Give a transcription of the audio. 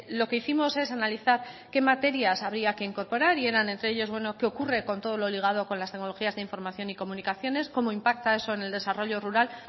lo que hicimos es analizar que materias habría que incorporar y eran entre ellos qué ocurre con todo lo ligado con las tecnologías de información y comunicaciones cómo impacta eso en el desarrollo rural